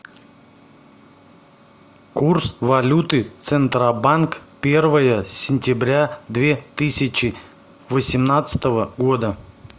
курс валюты центробанк первое сентября две тысячи восемнадцатого года